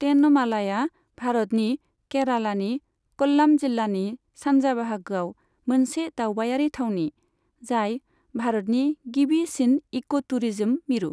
तेनमालाया भारतनि केरालानि क'ल्लाम जिल्लानि सान्जा बाहागोआव मोनसे दावबायारि थावनि, जाय भारतनि गिबिसिन इक'टुरिज्म मिरु।